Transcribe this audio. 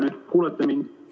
Kas te kuulete mind?